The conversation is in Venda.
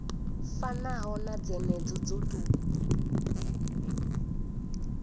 fanaho na dzenedzo dzo tou